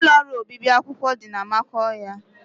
Ụlọ ọrụ obibi akwụkwọ dị na Amakohia